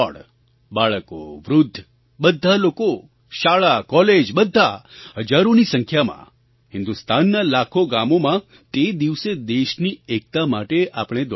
બાળકો વૃદ્ધ બધા લોકો શાળા કૉલેજ બધા હજારોની સંખ્યામાં હિન્દુસ્તાનનાં લાખો ગામોંમાં તે દિવસે દેશની એકતા માટે આપણે દોડવાનું છે